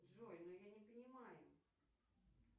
джой ну я не понимаю